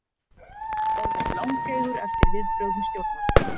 Orðinn langeygur eftir viðbrögðum stjórnvalda